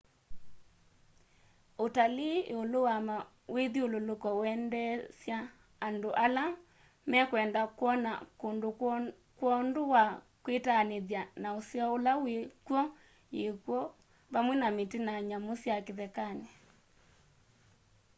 utalii iulu wa mawithyululuko wendeesya andũ ala mekwenda kwona kũndũ kwondũ wa kwitanĩthya na ũseo ũla wĩ kw'o yĩkwo vamwe na mĩtĩ na nyamũ sya kĩthekanĩ